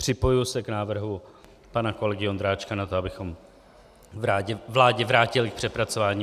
Připojuji se k návrhu pana kolegy Ondráčka na to, abychom vládě vrátili k přepracování.